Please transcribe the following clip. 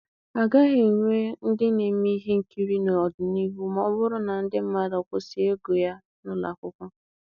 A gaghị enwe ndị na-eme ihe nkiri n'ọdịnihu ma ọ bụrụ na ndị mmadụ kwụsị ịgụ ya n'ụlọ akwụkwọ.